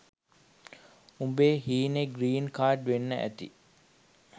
උඹේ හීනේ ග්‍රීන් කාර්ඩ්වෙන්න ඇති